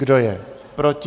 Kdo je proti?